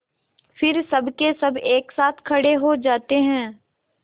फिर सबकेसब एक साथ खड़े हो जाते हैं